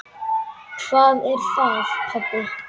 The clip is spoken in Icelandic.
Hvað er það, pabbi?